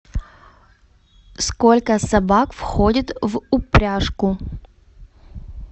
сколько собак входит в упряжку